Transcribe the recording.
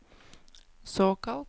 såkalt